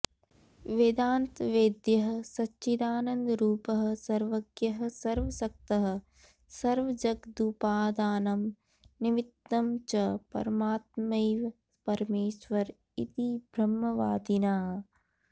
वेदान्तवेद्यः सच्चिदानन्दरूपः सर्वज्ञः सर्वशक्तः सर्वजगदुपादानं निमित्तं च परमात्मैव परमेश्वर इति ब्रह्मवादिनः